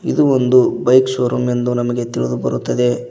ಇದು ಒಂದು bike showroom ಎಂದು ನಮಗೆ ತಿಳಿದು ಬರುತ್ತದೆ.